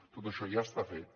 tot això ja està fet